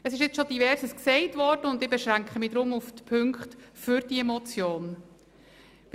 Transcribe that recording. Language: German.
Es wurde schon vieles gesagt und ich beschränke mich darum auf die Punkte, die für die Motion sprechen.